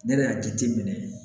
Ne yɛrɛ y'a jate minɛ